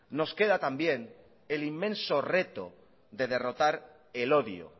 nos queda también el inmenso reto de derrotar el odio